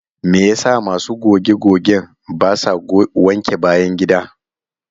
Me yasa masu goge-gogen basa wanke bayan gida?